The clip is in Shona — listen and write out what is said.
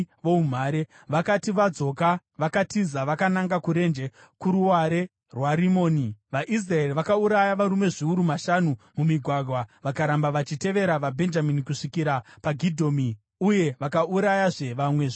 Vakati vadzoka vakatiza vakananga kurenje kuruware rwaRimoni, vaIsraeri vakauraya varume zviuru zvishanu (mumigwagwa). Vakaramba vachitevera vaBhenjamini kusvikira paGidhomi uye vakaurayazve vamwe zviuru zviviri.